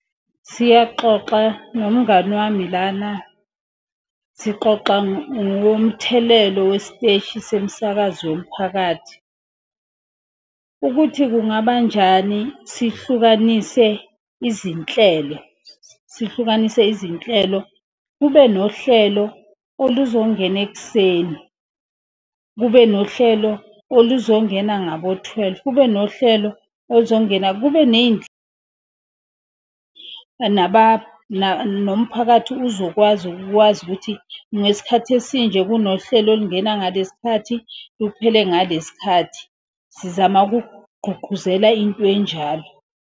Siyaxoxa nomngani wami lana, sixoxa ngomthelelo wesiteshi somsakazo womphakathi. Ukuthi kungabanjani sihlukanise izinhlelo, sihlukanise izinhlelo. Kube nohlelo oluzongena ekuseni, kube nohlelo oluzongena ngabo-twelve, kube nohlelo oluzongena. Kube nomphakathi uzokwazi ukuthi ngesikhathi esinje. Kunohlelo olungena ngaleskhathi, luphele ngaleskhathi, sizama ukugqugquzela intwenjalo.